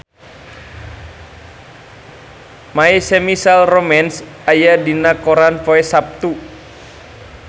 My Chemical Romance aya dina koran poe Saptu